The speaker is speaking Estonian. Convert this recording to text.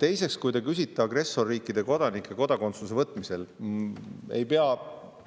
Teiseks, kui te küsite agressorriikide kodanike kodakondsuse äravõtmise kohta, siis ei pea